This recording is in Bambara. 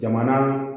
Jamana